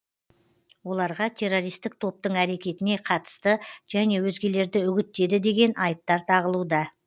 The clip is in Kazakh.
оларға террористік топтың әрекетіне қатысты және өзгелерді үгіттеді деген айыптар тағылуда